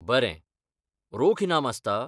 बरें, रोख इनाम आसता?